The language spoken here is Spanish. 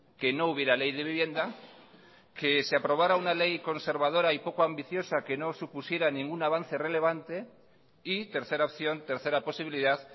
que no hubiera ley de vivienda que se aprobara una ley conservadora y poco ambiciosa que no supusiera ningún avance relevante y tercera opción tercera posibilidad